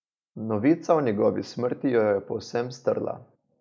Novica o njegovi smrti jo je povsem strla.